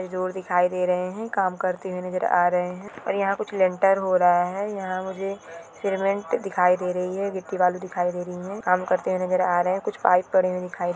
ये रोड दिखाई दे रहे है काम करते हुए नजर आ रहे है और यहाँ कुछ हो रहा है यहाँ मुझे सीमेंट दिखाई दे रही है गिट्टी बालू दिखाई दे रही है काम करते हुए नजर आ रहे है कुछ पाइप पड़े हुए दिखाई दे रहे है।